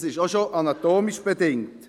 Das ist auch bereits anatomisch bedingt.